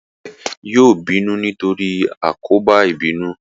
Ìyá rẹ yóò bínú nítorí àkóbá ìbínú